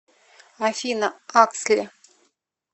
афина аксли